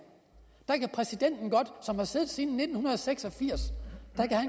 præsidenten som har siddet siden nitten seks og firs